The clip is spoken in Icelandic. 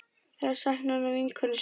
Þær sakna nú vinkonu sinnar.